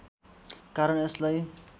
कारण यसलाई